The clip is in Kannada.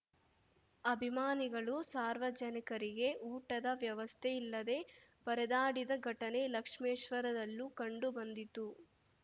ಅಭಿಮಾನಿಗಳು ಸಾರ್ವಜನಿಕರಿಗೆ ಊಟದ ವ್ಯವಸ್ಥೆ ಇಲ್ಲದೇ ಪರದಾಡಿದ ಘಟನೆ ಲಕ್ಷ್ಮೇಶ್ವರದಲ್ಲೂ ಕಂಡು ಬಂದಿತು